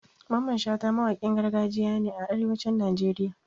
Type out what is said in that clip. Mamman Shata mawakin gargajiya ne a arewacin Najeriya